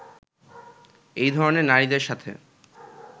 এ ধরনের নারীদের সাথে